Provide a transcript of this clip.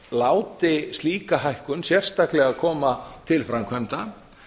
láti slíka hækkun sérstaklega koma til framkvæmda